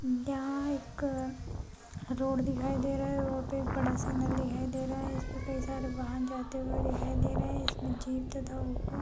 यहाँ एक अ रोड दिखाई दे रहा है रोड पे बड़ा सिग्नल दिखाई दे रहा है इसपे कई सारे वहाँ जाते हुए दिखाई दे रहे हैं इसमें जीप तथा ऑटो --